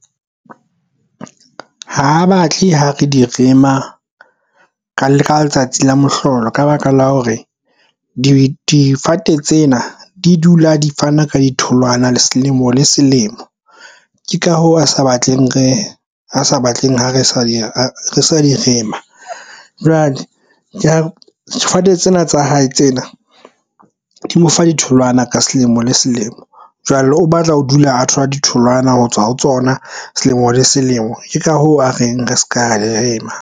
Ha batle ho re di rema le ka letsatsi la mohlolo ka baka la hore difate tsena di dula di fana ka di tholwana selemo le selemo. Ke ka hoo a sa batleng re a sa batleng ha re sa di a re sa di rema. Jwale difate tsena tsa hae tsena di mo fa ditholwana ka selemo le selemo jwale o batla ho dula a thola ditholwana ho tswa ho tsona selemo le selemo. Ke ka hoo a reng re se ka rema.